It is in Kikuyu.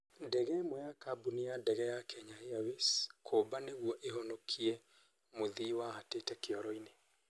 Ndege ĩmwe ya kambuni ya ndege ya kenya Airlines kũmba nĩguo ĩhonokie mũthii wahatĩte kĩoro-inĩ